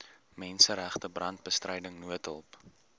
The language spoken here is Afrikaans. menseregte brandbestryding noodhulp